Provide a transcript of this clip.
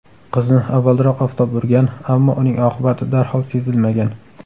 Qizni avvalroq oftob urgan, ammo uning oqibati darhol sezilmagan.